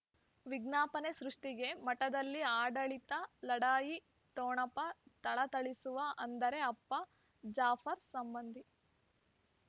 ವಿಜ್ಞಾಪನೆ ಸೃಷ್ಟಿಗೆ ಮಠದಲ್ಲಿ ಆಡಳಿತ ಲಢಾಯಿ ಠೊಣಪ ಥಳಥಳಿಸುವ ಅಂದರೆ ಅಪ್ಪ ಜಾಫರ್ ಸಂಬಂಧಿ